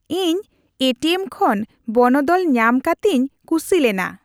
ᱤᱧ ATM ᱠᱷᱚᱱ ᱵᱚᱱᱚᱫᱚᱞ ᱧᱟᱢ ᱠᱟᱛᱤᱧ ᱠᱩᱥᱤ ᱞᱮᱱᱟ